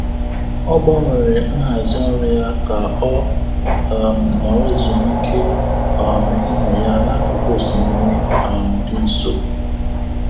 Ọ gbanwere nhazi ọrụ ya ka ọ um nọrọ ezumike um ehihie ya n'akụkụ osimiri um dị nso.